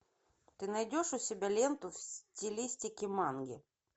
ты найдешь у себя ленту в стилистике манги